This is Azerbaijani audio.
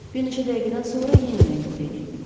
Bir neçə dəqiqədən sonra yenidən yuxuya getdim.